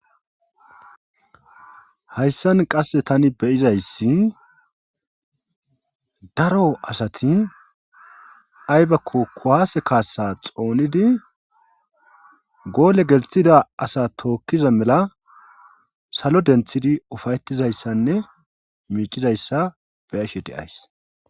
Hayssan qasse tani beyizayssi daro asati aybakko kuwaase kaassa xoonidi goole gelthida asa tookkiza mela salo denthidi ufayetizayssanne miicizayssa beyashe deays.